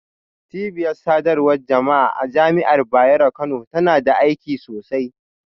Cibiyar sadarwar jama'a a Jami'ar Bayero Kano tana da aiki sosai.